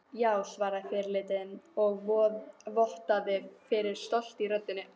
Já, svaraði fyrirliðinn og vottaði fyrir stolti í röddinni.